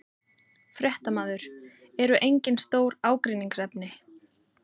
Fréttamaður: Eru engin stór ágreiningsefni?